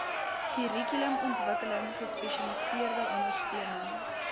kurrikulumontwikkeling gespesialiseerde ondersteuning